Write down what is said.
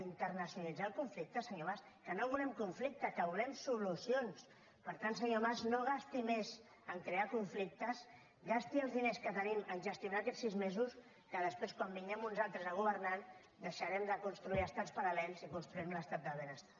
internacionalitzar el conflicte se·nyor mas que no volem conflicte que volem soluci·ons per tant senyor mas no gasti més a crear conflic·tes gasti els diners que tenim a gestionar aquests sis mesos que després quan vinguem uns altres a gover·nar deixarem de construir estats paral·lels i construi·rem l’estat del benestar